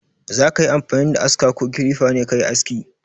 Za ka yi amfani da aska ko kilifa ne ka yi aski?